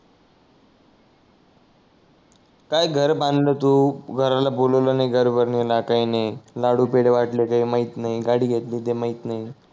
काय घर बांधल तू घराला बोलावल नाही घरभरणीला काही नाही लाडू पेडे वाटले काही माहीत नाही गाडी घेतली तर माहीत नाही